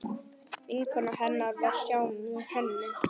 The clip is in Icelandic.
Vinkona hennar var hjá henni.